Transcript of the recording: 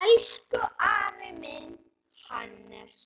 Elsku afi minn, Hannes.